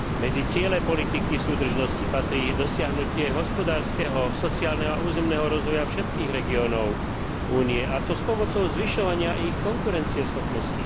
Medzi ciele politiky súdržnosti patrí dosiahnutie hospodárskeho, sociálneho a územného rozvoja všetkých regiónov Únie, a to pomocou zvyšovania ich konkurencieschopnosti.